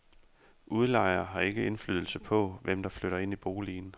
Udlejer har ikke indflydelse på, hvem der flytter ind i boligen.